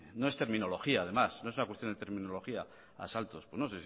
no es terminología además no es una cuestión de terminología asaltos pues no